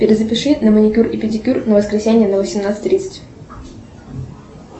перезапиши на маникюр и педикюр на воскресенье на восемнадцать тридцать